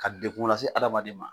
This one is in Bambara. Ka dekun lase adamaden ma